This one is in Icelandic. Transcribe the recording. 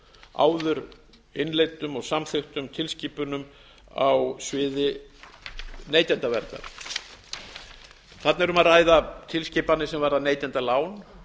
áður innleiddum og samþykktum tilskipunum á sviði neytendaverndar þarna er um að ræða tilskipanir sem varða neytendalán